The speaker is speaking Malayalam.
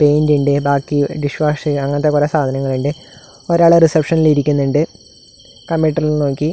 പെയിന്റിൻ്റെ ബാക്കി ഡിഷ് വാഷ് ചെയ്യുക അങ്ങനത്തെ കുറെ സാധനങ്ങളിണ്ട് ഒരാള് റിസപ്ഷനിൽ ഇരിക്കുന്നുണ്ട് കമ്പ്യൂട്ടറിൽ നോക്കി.